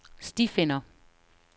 stifinder